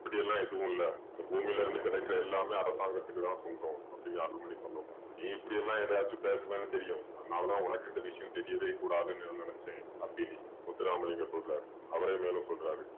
அப்படியெல்லாம் எதுவுமில்ல. இந்த பூமியிலிருந்து கிடைக்கிற எல்லாமே அரசாங்கத்துக்கு தான் சொந்தம் அப்படீன்னு அருள்மணி சொல்லவும் நீ இப்படியெல்லாம் ஏதாச்சும் பேசுவேன்னு தெரியும் அதுனால தான் உனக்கு இந்த விஷயம் தெரியவே கூடாதுன்னு இதை நினச்சேன் அப்படி முத்துராமலிங்கம் சொல்றாரு. அவரே மேலும் சொல்றாரு